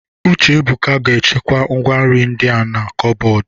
Uchebuka ga-echekwa ngwá nri ndi a na kọbọdụ.